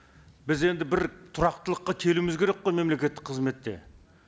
біз енді бір тұрақтылыққа келуіміз керек қой мемлекеттік қызметте